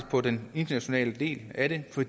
på den internationale del af det for